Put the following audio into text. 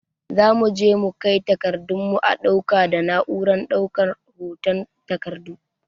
Zamu je mu kai takardun mu a ɗauka da na'urar ɗaukan hoton takardu